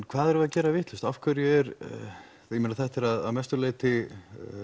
hvað erum við að gera vitlaust þetta er að mestu leyti